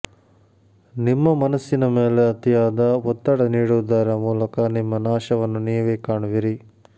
ನಿಮ್ಮ ಮನಸ್ಸಿನ ಮೇಲೆ ಅತಿಯಾದ ಒತ್ತಡ ನೀಡುವುದರ ಮೂಲಕ ನಿಮ್ಮ ನಾಶವನ್ನು ನೀವೇ ಕಾಣುವಿರಿ